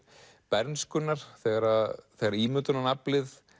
bernskunnar þegar þegar ímyndunaraflið